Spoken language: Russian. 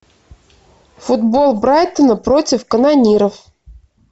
футбол брайтона против канониров